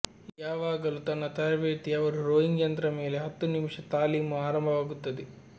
ಯಾವಾಗಲೂ ತನ್ನ ತರಬೇತಿ ಅವರು ರೋಯಿಂಗ್ ಯಂತ್ರ ಮೇಲೆ ಹತ್ತು ನಿಮಿಷ ತಾಲೀಮು ಆರಂಭವಾಗುತ್ತದೆ